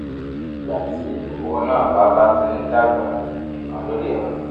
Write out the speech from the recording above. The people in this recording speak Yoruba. ìgbà tí kòkòrò náà bá bá ti ń dàgbà nìkan ló lè ranni